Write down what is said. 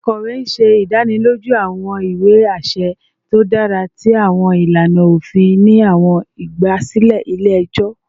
Akọwe ṣe idaniloju awọn iwe aṣẹ to dara ti awọn ilana ofin ni awọn igbasilẹ ile-ẹjọ